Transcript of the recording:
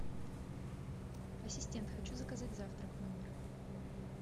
ассистент хочу заказать завтрак в номер